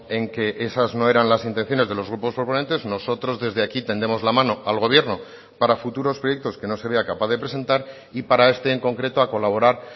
en que esas no eran las intenciones de los grupos proponentes nosotros desde aquí tendemos la mano al gobierno para futuros proyectos que no se vea capaz de presentar y para este en concreto a colaborar